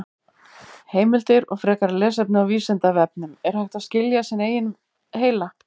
Heimildir og frekara lesefni á Vísindavefnum: Er hægt að skilja sinn eigin heila?